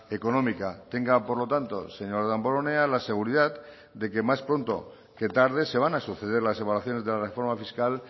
económica tenga por lo tanto señor damborenea la seguridad de que más pronto que tarde se van a suceder las evaluaciones de la reforma fiscal